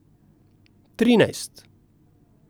Trinajst.